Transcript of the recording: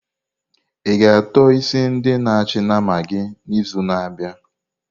I-ga ató isi ndi na achị nama gị n'izu na-abịa?